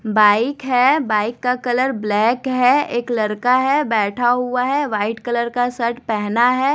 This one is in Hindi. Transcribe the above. बाइक हैं बाइक का कलर ब्लैक है एक लड़का है बैठा हुआ है व्हाइट कलर का शर्ट पहना है।